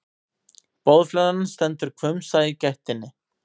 Boðflennan stendur hvumsa í gættinni.